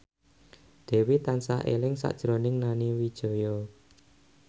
Dewi tansah eling sakjroning Nani Wijaya